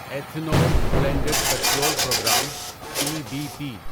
ethanol blended petrol programme E B P